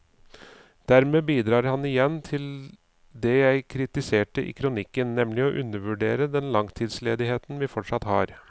Dermed bidrar han igjen til det jeg kritiserte i kronikken, nemlig å undervurdere den langtidsledigheten vi fortsatt har.